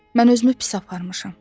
Mən özümü pis aparmışam.